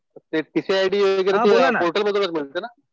ते TC ID वगैरे आपल्याला पोर्टलमधूनच मिळतं ना?